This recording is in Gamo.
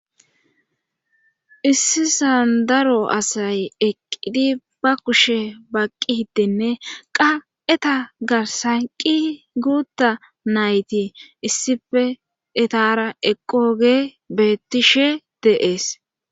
issisan daro asay eqqidi ba kushe baqqi hiddenne qa7eta garsanqi guutta nayti issife etara eqqoge bettishe deees